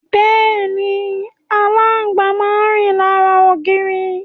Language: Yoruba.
Bẹ́ẹ̀ni, aláǹgbá máa rìn lára ògiri.